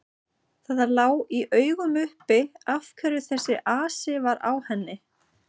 Það lá í augum uppi af hverju þessi asi var á henni.